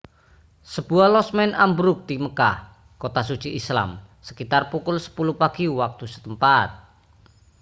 sebuah losmen ambruk di makkah kota suci islam sekitar pukul 10 pagi waktu setempat